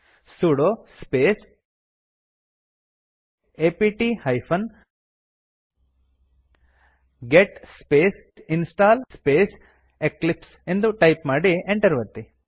sudo space apt hyphen get space install space eclipse ಎಂದು type ಮಾಡಿ Enter ಒತ್ತಿ